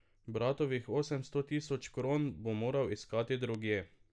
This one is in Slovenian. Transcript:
Bratovih osemsto tisoč kron bo moral iskati drugje.